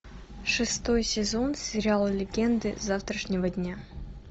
шестой сезон сериал легенды завтрашнего дня